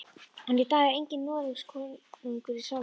En í dag er enginn Noregskonungur í salnum.